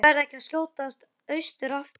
Ætli ég verði ekki að skjótast austur aftur.